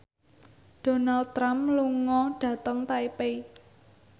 Donald Trump lunga dhateng Taipei